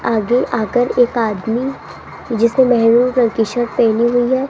आगे आकर एक आदमी जिसने मेहरून कलर की शर्ट पहनी हुई है।